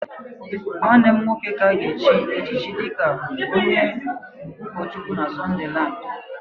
nwanne m nwoke ka a ga-echiri echichi dịka onye ụkọchukwu na Sunderland